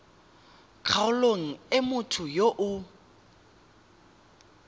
kgaolong e motho yo o